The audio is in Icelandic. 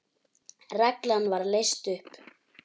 Reglan var leyst upp.